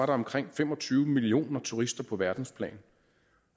var omkring fem og tyve millioner turister på verdensplan